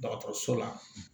Dɔgɔtɔrɔso la